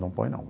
Não põe, não.